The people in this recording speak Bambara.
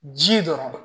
Ji dɔrɔn